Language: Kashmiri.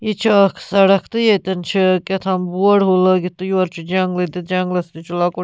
.یہِ چُھ اکھ سڑکھ تہٕ ییٚتٮ۪ن چھ کہتھام بورڈ ہیوٗ لٲگِتھ تہٕ یورٕ چُھ جنگلہٕ تہٕ جنگلس تہِ چھ لۄکُٹ